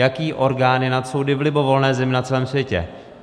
Jaký orgán je nad soudy v libovolné zemi na celém světě?